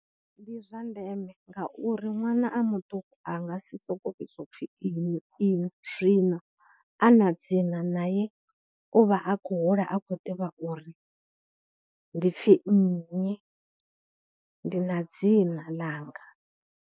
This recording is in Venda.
Ndi zwa ndeme ngauri ṅwana a muṱuku a nga si sokou vhidzwa u pfhi iṅwi iṅwi, zwino a na dzina nae u vha a khou hula a khou ḓivha uri ndi pfhi nnyi, ndi na dzina ḽanga.